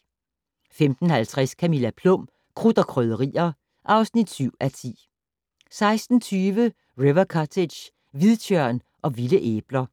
15:50: Camilla Plum - Krudt og Krydderier (7:10) 16:20: River Cottage - hvidtjørn og vilde æbler